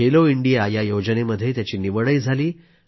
Khelo India या योजनेमध्ये त्याची निवडही झाली